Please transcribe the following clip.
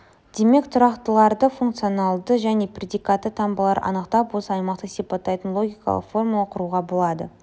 демек тұрақтыларды функциональды және предикатты таңбаларды анықтап осы аймақты сипаттайтын логикалық формула құруға болады